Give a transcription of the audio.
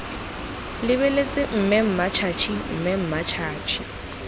lebeletse mme mmatšhatšhi mme mmatšhatšhi